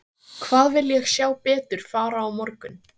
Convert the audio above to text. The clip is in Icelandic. Hvað vil ég sjá betur fara á morgun?